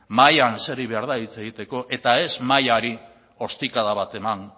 mahaian eseri behar da hitz egiteko eta ez mahaiari ostikada bat eman